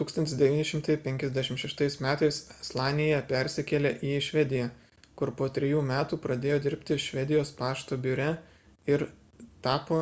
1956 m slanija persikėlė į švediją kur po trijų metų pradėjo dirbti švedijos pašto biure ir tapo